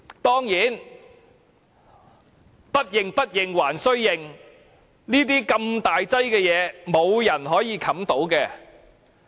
當然，不認、不認還須認，如此大件事，沒有人可以遮掩得到。